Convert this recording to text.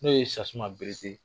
N'o ye Sasuma Berete